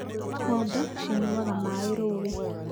Ng'ombe cinyuaga maaĩ rũũĩ